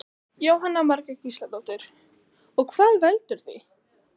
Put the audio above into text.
Jóhanna Margrét Gísladóttir: Og hvað veldur því?